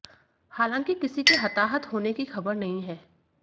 हालांकि किसी के हताहत होने की खबर नहीं है